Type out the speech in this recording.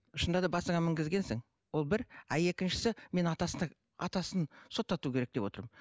шынында да басыңа мінгізгенсің ол бір а екіншісі мен атасына атасын соттату керек деп отырмын